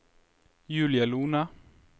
Julie Lohne